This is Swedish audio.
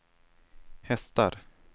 hästar